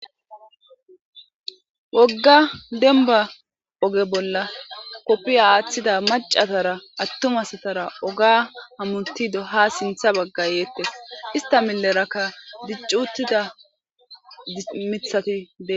Wogga dembba oge bolla kofiya athida macca asatara atuma asatara ogen hamuttidi ha sinthe baga yettes.ista milera dicci uttida mithati bettes.